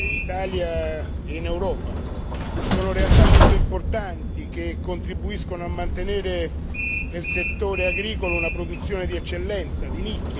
Sono realtà molto importanti che contribuiscono a mantenere nel settore agricolo una produzione di eccellenza, di nicchia e soprattutto di grande qualità.